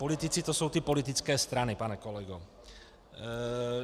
Politici, to jsou ty politické strany, pane kolego.